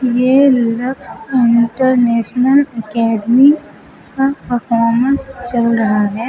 ये Lakshya international academy का performance चल रहा है।